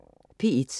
P1: